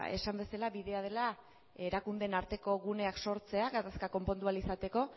esan bezala bidea dela erakundeen arteko guneak sortzea gatazka konpondu ahal izateko